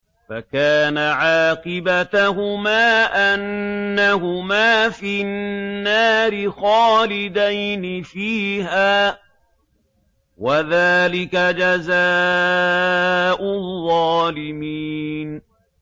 فَكَانَ عَاقِبَتَهُمَا أَنَّهُمَا فِي النَّارِ خَالِدَيْنِ فِيهَا ۚ وَذَٰلِكَ جَزَاءُ الظَّالِمِينَ